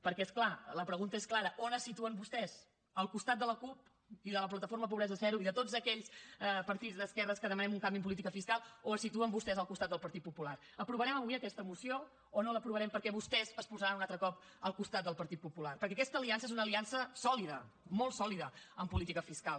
perquè és clar la pregunta és clara on es situen vostès al costat de la cup i de la plataforma pobresa zero i de tots aquells partits d’esquerres que demanem un canvi en política fiscal o es situen vostès al costat del partit popular aprovarem avui aquesta moció o no l’aprovarem perquè vostès es posaran un altre cop al costat del partit popular perquè aquesta aliança és una aliança sòlida molt sòlida en política fiscal